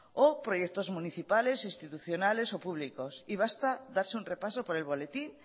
o proyectos municipales institucionales o públicos y basta con darse un repaso por el boletín